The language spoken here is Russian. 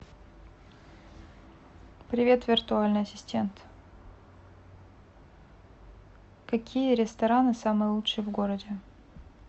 привет виртуальный ассистент какие рестораны самые лучшие в городе